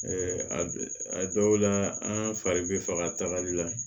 a dɔw la an fari bɛ faga tagali la